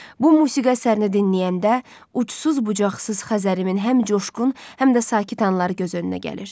Bu musiqi əsərini dinləyəndə ucsuz-bucaqsız Xəzərimin həm coşqun, həm də sakit anları göz önünə gəlir.